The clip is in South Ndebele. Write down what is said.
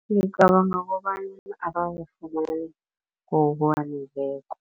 Ngicabanga kobana kobana abazifumani ngokwaneleko.